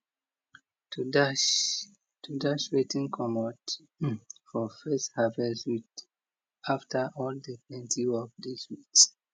to dash to dash wetin comot for first harvest with after all de plenty work de sweet